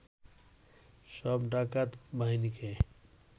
সব ডাকাত বাহিনীকে